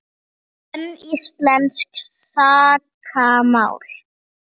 Sönn íslensk sakamál